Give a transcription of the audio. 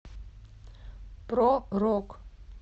про рок